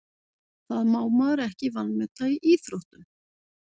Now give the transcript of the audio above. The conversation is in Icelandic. Það má maður ekki vanmeta í íþróttum.